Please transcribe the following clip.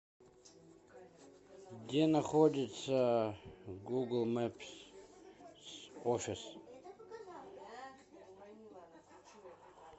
где находится гугл мэпс офис